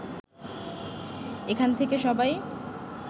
এখান থেকে সবাই